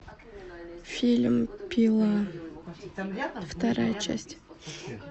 фильм пила вторая часть